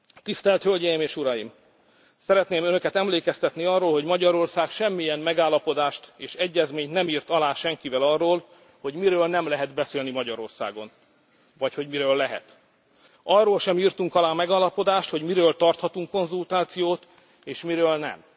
szó. Tisztelt Hölgyeim és Uraim, szeretném Önöket emlékeztetni arra, hogy Magyarország semmilyen megállapodást és egyezményt nem írt alá senkivel arról, hogy miről nem lehet beszélni Magyarországon, vagy hogy miről lehet. Arról sem írtunk alá megállapodást, hogy miről tarthatunk konzultációt és miről